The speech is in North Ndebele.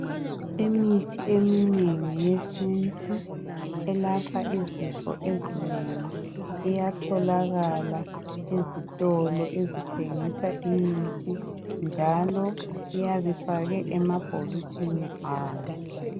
Imithi eminengi yesi elapha izifo ezinengi iyatholakala ezitolo ezithengisa imithi njalo iyabe ifakwe emabhokisini awo.